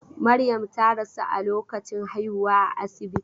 Maryam ta rasu a lokacin haihuwa a asibiti.